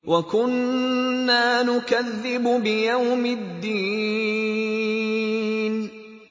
وَكُنَّا نُكَذِّبُ بِيَوْمِ الدِّينِ